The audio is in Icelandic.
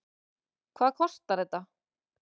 Hvað kostar þetta?